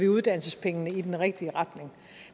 uddannelsespengene i den rigtige retning